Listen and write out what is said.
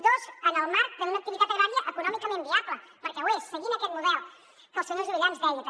dos en el marc d’una activitat agrària econòmicament viable perquè ho és seguint aquest model que el senyor juvillà ens deia també